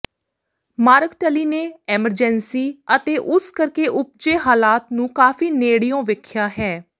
mark Tully ਨੇ Emergency ਅਤੇ ਉਸ ਕਰਕੇ ਉਪਜੇ ਹਾਲਾਤ ਨੂੰ ਕਾਫੀ ਨੇੜਿਓਂ ਵੇਖਿਆ ਹੈ